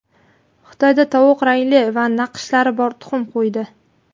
Xitoyda tovuq rangli va naqshlari bor tuxum qo‘ydi.